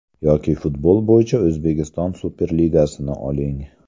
Yoki futbol bo‘yicha O‘zbekiston Superligasini oling.